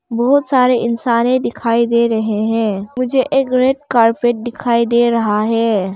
बहुत सारे इंसाने दिखाई दे रहे हैं मुझे एक रेड कार्पेट डिखाई डे रहा है।